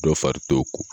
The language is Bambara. Dɔ fari t'o kɔ